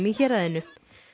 í héraðinu